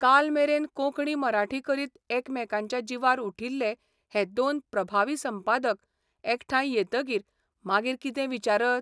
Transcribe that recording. काल मेरेन कोंकणी मराठी करीत एकामेकांच्या जिवार उठिल्ले हे दोन प्रभावी संपादक एकठांय येतकीर मागीर कितें विचारत?